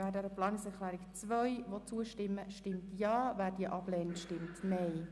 Wer der Planungserklärung 3 zustimmt, stimmt Ja, wer diese ablehnt, stimmt Nein.